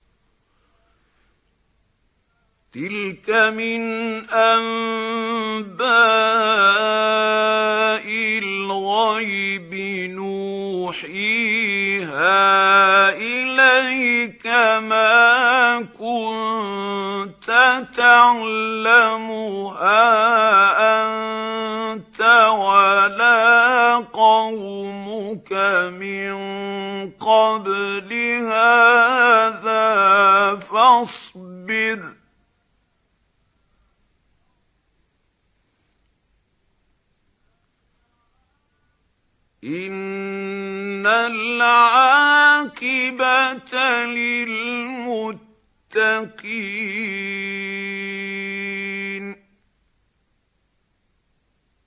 تِلْكَ مِنْ أَنبَاءِ الْغَيْبِ نُوحِيهَا إِلَيْكَ ۖ مَا كُنتَ تَعْلَمُهَا أَنتَ وَلَا قَوْمُكَ مِن قَبْلِ هَٰذَا ۖ فَاصْبِرْ ۖ إِنَّ الْعَاقِبَةَ لِلْمُتَّقِينَ